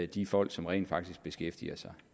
de folk som rent faktisk beskæftiger sig